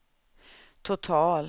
total